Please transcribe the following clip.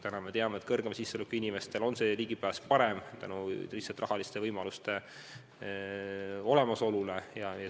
Praegu me teame, et suurema sissetulekuga inimestel on ligipääs arstiabile parem tänu rahaliste võimaluste olemasolule.